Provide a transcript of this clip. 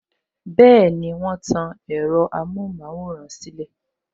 Bẹẹni, wọn tan ẹ̀rọ amohun maworan silẹ